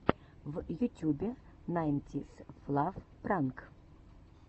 в ютюбе найнтисфлав пранк